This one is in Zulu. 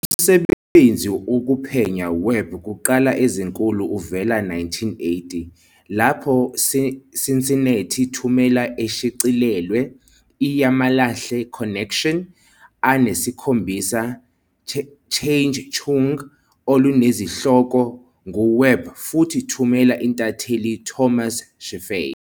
Umsebenzi okuphenya Webb kuqala ezinkulu uvele 1980, lapho "Cincinnati Thumela" eshicilelwe "I yamalahle Connection," a nesikhombisa chungechunge olunezihloko ngu Webb futhi "Thumela" intatheli Thomas Scheffey.